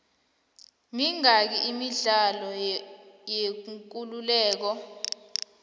mingaki imidlalo yekuleleko